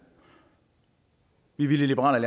vi ville i liberal